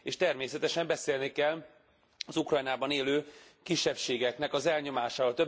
És természetesen beszélni kell az Ukrajnában élő kisebbségeknek az elnyomásáról.